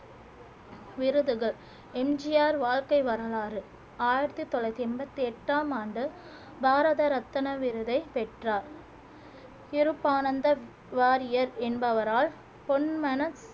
விருதுகள் M G R வாழ்க்கை வரலாறு ஆயிரத்தி தொள்ளாயிரத்தி எண்பத்தி எட்டாம் ஆண்டு பாரத ரத்தின விருதை பெற்றார் இருப்பானந்த வாரியர் என்பவரால் பொன்மனச்